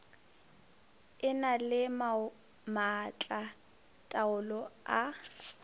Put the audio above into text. e na le maatlataolo a